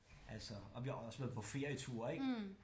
Altså og vi har også været på ferieture ik